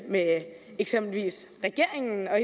med eksempelvis regeringen og